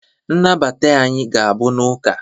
nnabata anyị ga-abụ n'ụka